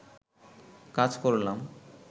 কাজ করলাম